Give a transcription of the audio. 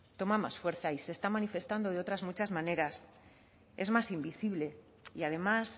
toma más fuerza y se está manifestando de otras muchas maneras es más invisible y además